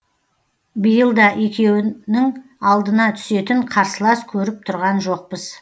биылда екеуінің алдына түсетін қарсылас көріп тұрған жоқпыз